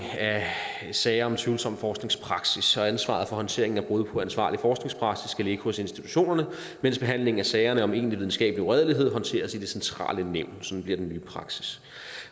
af sager om tvivlsom forskningspraksis så ansvaret for håndteringen af brud på ansvarlig forskningspraksis skal ligge hos institutionerne mens behandlingen af sagerne om egentlig videnskabelig uredelighed håndteres i det centrale nævn sådan bliver den nye praksis